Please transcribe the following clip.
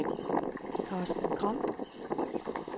Carsten Gram